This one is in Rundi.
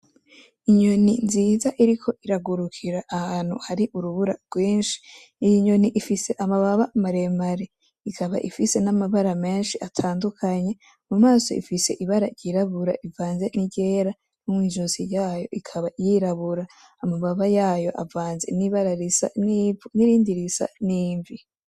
Inyoni nziza iriko iragurukira ahantu hari urubura rwinshi, iyi nyoni ifise amababa maremare, ikaba ifise n'amabara menshi atandukanye mumaso ifise ibara ry'irabura ivanze niryera no mwi'izosi ryayo ikaba ry'irabura, amababa yayo avanze n'ibara risa n'ivu n'irindi isa n'imvi.